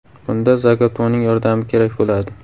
Bunda Zagato‘ning yordami kerak bo‘ladi.